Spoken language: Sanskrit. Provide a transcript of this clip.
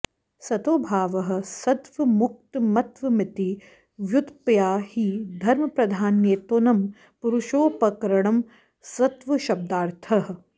सतो भावः सत्त्वमुत्तमत्वमिति व्युत्पत्त्या हि धर्मप्राधान्येनोत्तमं पुरुषोपकरणं सत्त्वशब्दार्थः